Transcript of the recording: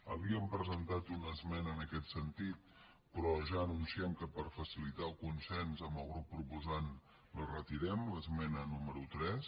havíem presentat una esmena en aquest sentit però ja anunciem que per facilitar el consens amb el grup proposant la retirem l’esmena número tres